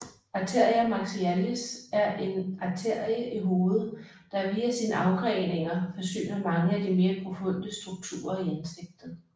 Arteria maxillaris er en arterie i hovedet der via sine afgreninger forsyner mange af de mere profunde strukturer i ansigtet